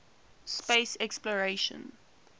space exploration